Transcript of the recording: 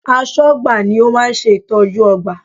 Aṣọ́gbà ni ó máa ń ṣe ìtọ́jú ọgbà